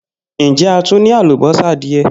Njẹ a tun ni alubosa diẹ?